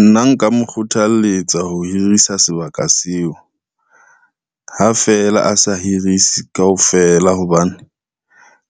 Nna nka mo kgothalletsa ho hirisa sebaka seo, ha feela a sa hirise kaofela, hobane